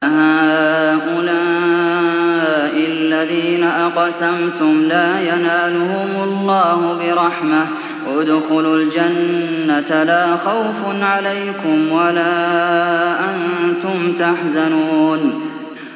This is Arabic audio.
أَهَٰؤُلَاءِ الَّذِينَ أَقْسَمْتُمْ لَا يَنَالُهُمُ اللَّهُ بِرَحْمَةٍ ۚ ادْخُلُوا الْجَنَّةَ لَا خَوْفٌ عَلَيْكُمْ وَلَا أَنتُمْ تَحْزَنُونَ